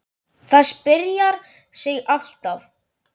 Það spjarar sig alltaf.